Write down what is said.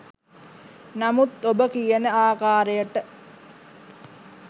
නමුත් ඔබ කියන ආකාරයට